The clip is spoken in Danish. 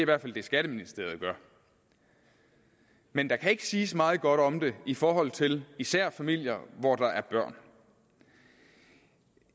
hvert fald det skatteministeriet gør men der kan ikke siges meget godt om det i forhold til især familier hvor der er børn